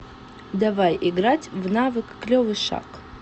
давай играть в навык клевый шаг